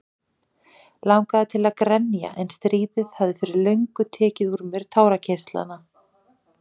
Langaði til að grenja en stríðið hafði fyrir löngu tekið úr mér tárakirtlana.